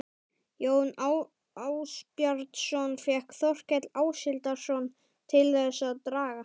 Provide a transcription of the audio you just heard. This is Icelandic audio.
Jón Ásbjarnarson fékk Þórkel Áshildarson til þess að draga